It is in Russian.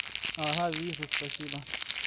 ага вижу спасибо